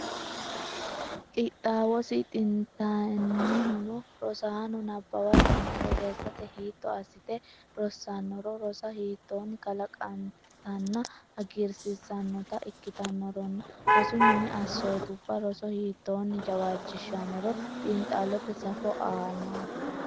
Qixxaawosi xintantinohuno rosaano nabbawatenna borreessate hiitto assite rossannoro rosa hiittoonni kalanqennitanna hagiirsiissannota ikkitannoronna rosu mini assootubba roso hiittoonni jawaachishshannoro xiinxallote safo aanaati.